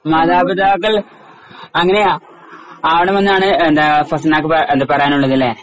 മാതാപിതാക്കൾ അങ്ങനെയാ അണുമെന്നാണ് എന്താ ഫസ്‌നാക്ക് എന്താ പറയാനുള്ളത്തുലെ .